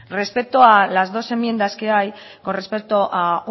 respecto a las enmiendas que hay con respecto a